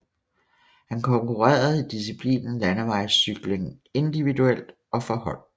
Han konkurrerede i diciplinen Landevejscykling individuelt og for hold